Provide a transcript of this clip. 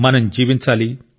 మనం జీవించాలి